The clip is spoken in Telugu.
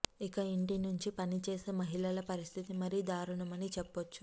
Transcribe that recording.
ఇక ఇంటి నుంచి పనిచేసే మహిళల పరిస్థితి మరీ దారుణం అని చెప్పచ్చు